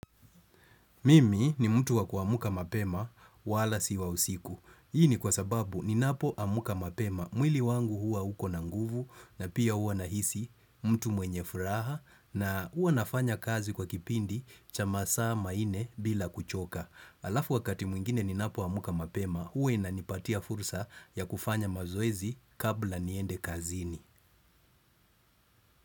Mimi ni mtu wa kuamuka mapema wala si wa usiku. Hii ni kwa sababu ninapo amuka mapema. Mwili wangu hua huko na nguvu na pia hua nahisi mtu mwenye furaha na hua nafanya kazi kwa kipindi cha masaa ma ine bila kuchoka. Alafu wakati mwingine ninapo amuka mapema hua inanipatia fursa ya kufanya mazoezi kabla niende kazini.